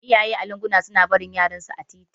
Iyaye a lunguna suna barin yaran su a titi